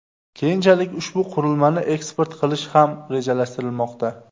Keyinchalik ushbu qurilmani eksport qilish ham rejalashtirilmoqda.